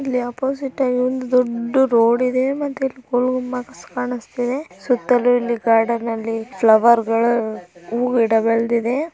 ಇಲ್ಲಿ ಒಪೊಸಿಟ್ ಆಗಿ ದೊಡ್ಡ್ ರೋಡ್ ಇದೆ ಸುತ್ತಲೂ ಇಲ್ಲಿ ಗಾರ್ಡರ್ನ ನೈ ಫ್ಲವರ್ ಗಳು ಹೂವು ಗಿಡಗಳು ಇವೆ.